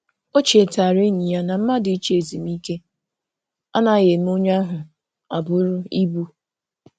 O chetara enyi ya na mmadụ ịchọ ezumike anaghị eme onye ahụ abụrụ ibu.